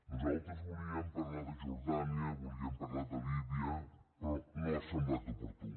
nosaltres volíem parlar de jordània volíem parlar de líbia però no ha semblat oportú